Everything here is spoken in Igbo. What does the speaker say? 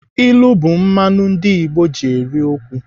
Ilu bụ mmanụ ndị Igbo ji eri okwu.